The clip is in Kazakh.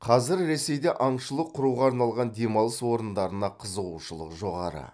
қазір ресейде аңшылық құруға арналған демалыс орындарына қызығушылық жоғары